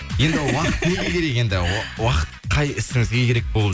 енді уақыт неге керек енді уақыт қай ісіңізге керек болып